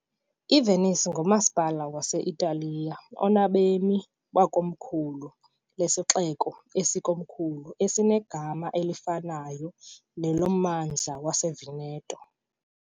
IVenice ngumasipala wase-Italiya onabemi abangama- , ikomkhulu lesixeko esilikomkhulu esinegama elifanayo nelommandla waseVeneto ..